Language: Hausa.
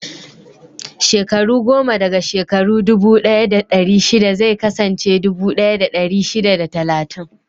Shekaru goma daga shekaru dubu ɗaya da ɗari shida zai kasance dubu ɗaya da dari shida da talatin.